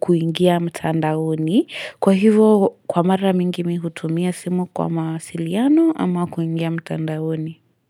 kuingia mtandaoni. Kwa hivo kwa mara mingi mimi hutumia simu kwa mawasiliano ama kuingia mtandaoni.